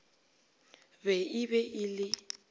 be e be e le